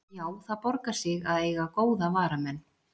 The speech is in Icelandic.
Já, það borgar sig að eiga góða varamenn.